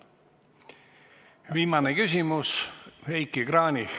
Viimane küsimus, Heiki Kranich.